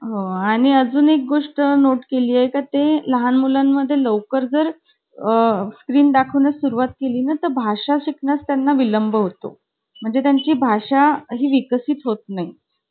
हा आह मी लई मस्ती करायचे. मारायचे-बिरायचे कळी-बीळी काढून यायचे.